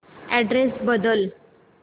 address बदल